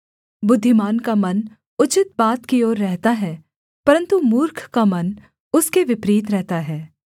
बुद्धिमान का मन उचित बात की ओर रहता है परन्तु मूर्ख का मन उसके विपरीत रहता है